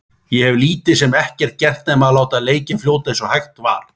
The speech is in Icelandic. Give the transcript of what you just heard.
Ég hef lítið sem ekkert gert nema að láta leikinn fljóta eins og hægt er.